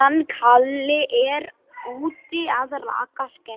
Undir niðri leyndust